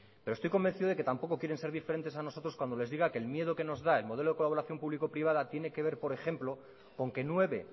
pero estoy convencido de que tampoco quieren ser diferentes a nosotros cuando les diga que el miedo que nos da el modelo de colaboración público privada tiene que ver por ejemplo con que nueve